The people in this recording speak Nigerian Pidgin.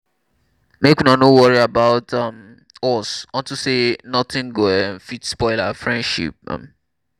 make una no worry about um us unto say nothing go um fit spoil our relationship um